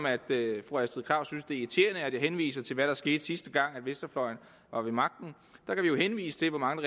at det er irriterende at jeg henviser til hvad der skete sidste gang venstrefløjen var ved magten kan vi jo henvise til hvor mange